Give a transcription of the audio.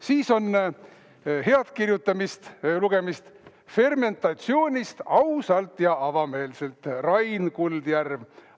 Siis on head lugemist: "Fermentatsioonist – ausalt ja avameelselt", Rain Kuldjärv.